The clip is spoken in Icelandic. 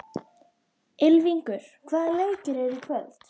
Ylfingur, hvaða leikir eru í kvöld?